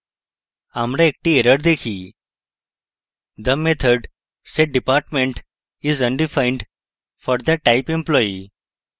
আমরা একটি error দেখি the method setdepartment string is undefined for the type employee